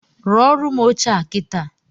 Rụọrụ m oche a kitaa